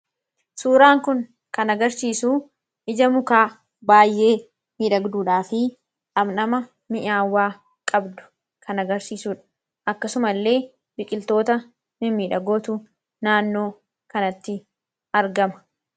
Suuraan kun kan agarsiisu ija mukaa baay'ee miidhagduudhaa fi dhamdha mi'aawaa qabdu kan agarsiisudha. Akkasuma illee biqiltoota mimmiidhagootu naannoo kanatti argama.